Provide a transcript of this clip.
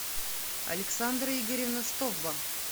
александра игоревна стовба